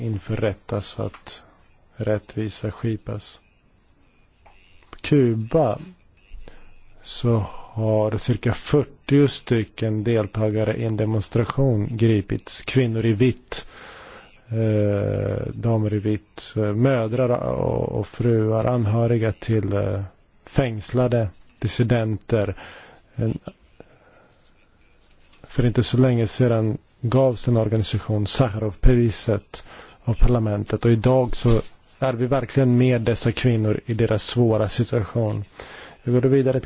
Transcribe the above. przed wymiar sprawiedliwości nie tylko bezpośrednich zabójców, ale także ich mocodawców. Druga niepokojąca informacja aresztowanie na Kubie około 30 uczestniczek demonstracji należących do ruchu Kobiety w bieli.